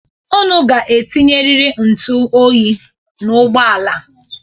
Unu ga-etinyeriri ntụ oyi n'ụgbọala a.